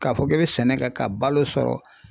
K'a fɔ k'e bɛ sɛnɛ kɛ ka balo sɔrɔ